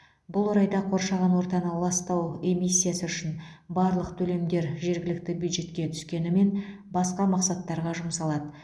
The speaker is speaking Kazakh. бұл орайда қоршаған ортаны ластау эмиссиясы үшін барлық төлемдер жергілікті бюджетке түскенімен басқа мақсаттарға жұмсалады